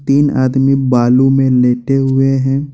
तीन आदमी बालू में लेटे हुए हैं।